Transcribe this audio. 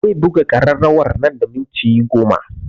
Zai buga ƙararrawa nan da minti goma